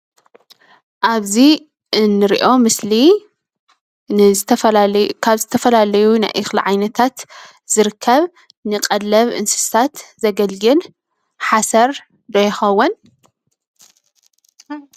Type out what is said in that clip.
ኣብዚ እንሪኦ ምስሊ ንዝትፈላለዩ ካብ ዝተፈላለዩ ናይ እኽሊ ዓይነታት ዝርከብ ንቐለብ እንስሳት ዘገልግል ሓሰር ዶ ይኸውን ?